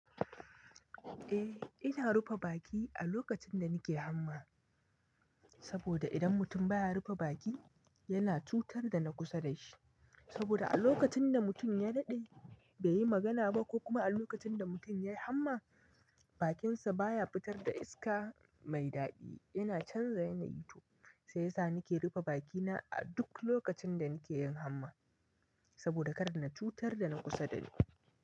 Eh ina rufe baki a lokacin da nake hamma, saboda idan mutum baya rufe baki yana cutar da na kusa da shi. Saboda a lokacin da mutum ya daɗe bai yi magana ba ko kuma a lokacin da mutum ya yi hamma bakinsa baya fitar da iska mai daɗi, yana canza yanayi to sai sa nake rufe bakina a duk lokacin da nake yin hamma, saboda kar na cutar da na kusa da ni.